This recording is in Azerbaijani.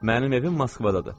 Mənim evim Moskvadadır.